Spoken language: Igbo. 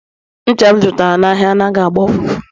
ncha m zụtara anaghị agba ụfụfụ